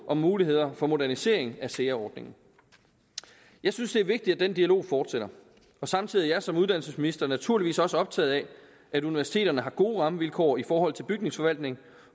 om muligheder for modernisering af sea ordningen jeg synes det er vigtigt at den dialog fortsætter og samtidig er jeg som uddannelsesminister naturligvis også optaget af at universiteterne har gode rammevilkår i forhold til bygningsforvaltning